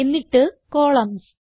എന്നിട്ട് കോളംൻസ്